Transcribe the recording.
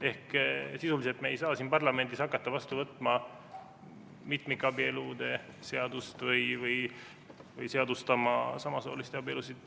Ehk sisuliselt me ei saa siin parlamendis hakata vastu võtma mitmikabielude seadust või seadustama samasooliste abielusid.